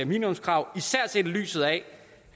minimumskrav især set i lyset af